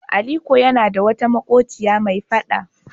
Aliko yana da wata maƙociya mai faɗa.